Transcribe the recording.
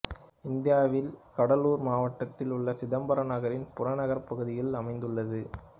இந்தியாவில் கடலூர் மாவட்டத்தில் உள்ள சிதம்பரம் நகரின் புறநகர்ப் பகுதியில் அமைந்துள்ளது